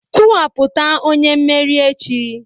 Kwuwapụta onye mmeri echi!